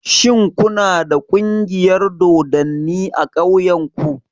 Shin ku na da ƙungiyar dodanni a ƙauyen ku?